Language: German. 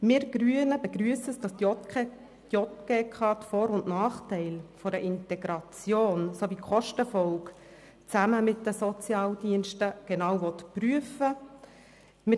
Wir Grünen begrüssen, dass die JGK die Vor- und Nachteile einer Integration sowie die Kostenfolgen zusammen mit den Sozialdiensten genau prüfen will.